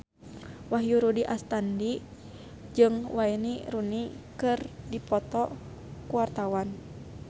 Wahyu Rudi Astadi jeung Wayne Rooney keur dipoto ku wartawan